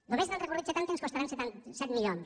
només n’han recorregut setanta i ens costaran set milions